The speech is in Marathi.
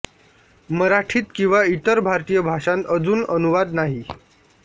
मराठीत किंवा इतर भारतीय भाषांत अजून अनुवाद नाही